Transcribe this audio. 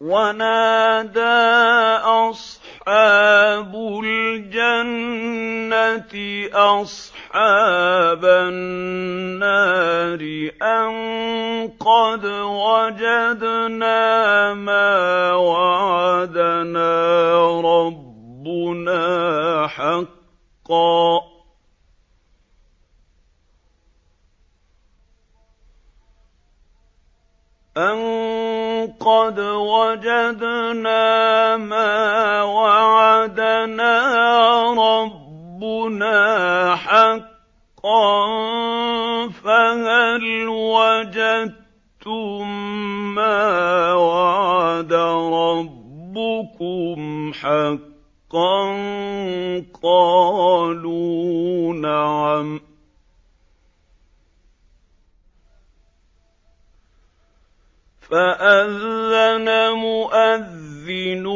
وَنَادَىٰ أَصْحَابُ الْجَنَّةِ أَصْحَابَ النَّارِ أَن قَدْ وَجَدْنَا مَا وَعَدَنَا رَبُّنَا حَقًّا فَهَلْ وَجَدتُّم مَّا وَعَدَ رَبُّكُمْ حَقًّا ۖ قَالُوا نَعَمْ ۚ فَأَذَّنَ مُؤَذِّنٌ